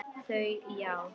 Þau: Já.